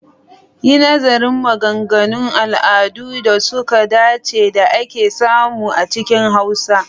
Yi nazarin maganganun al'adun da suka dace da ake samu a cikin Hausa.